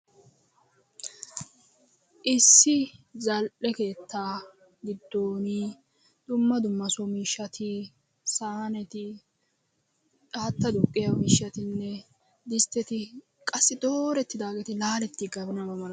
Issi zal"e keettaa giddon dumma dumma so miishshati saahaneti, haattaa duqqiyo miishshatinne distteti qassi dooretidaageeti laaletiganabaa malatoosona.